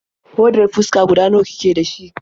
Hodar fuska guda nawa kike da shi?